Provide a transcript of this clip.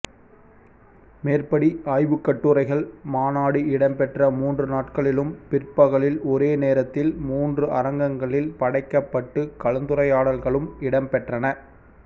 மேற்படி ஆய்வுக்கட்டுரைகள் மாநாடு இடம்பெற்ற மூன்று நாட்களிலும் பிற்பகலில் ஒரே நேரத்தில் மூன்று அரங்கங்களில் படைக்கப்பட்டுக் கலந்துரையாடல்களும் இடம்பெற்றன